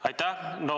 Aitäh!